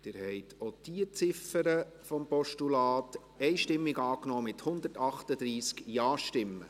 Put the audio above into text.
Sie haben auch diese Ziffer des Postulats einstimmig angenommen, mit 138 Ja-Stimmen.